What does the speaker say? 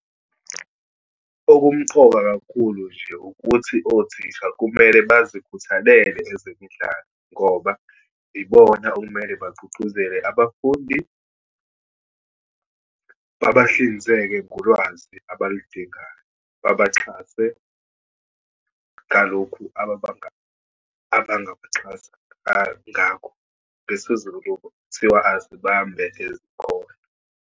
Okumqoka kakhulu nje, ukuthi othisha kumele bazikhuthalele ezemidlalo ngoba yibona okumele bagqugquzele abafundi, babahlinzeke ngolwazi abaludingayo, babaxhase ngalokhu abangabaxhasa ngakho. NgesiZulu kuthiwa, azibambe ezikhona.